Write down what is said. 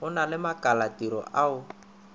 go na le makalatiro ao